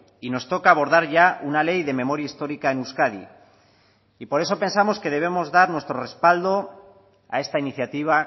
y nos toca abordar ya una ley de memoria histórica en euskadi y por eso pensamos que debemos dar nuestro respaldo a esta iniciativa